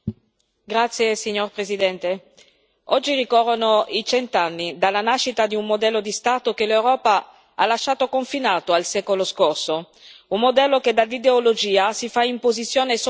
Signor Presidente, onorevoli colleghi, oggi ricorrono i cent'anni dalla nascita di un modello di Stato che l'Europa ha lasciato confinato al secolo scorso, un modello che da ideologia si fa imposizione e sopraffazione.